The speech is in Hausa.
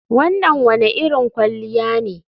Wannan wane irin kwalliya ne